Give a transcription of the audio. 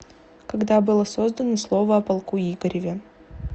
когда было создано слово о полку игореве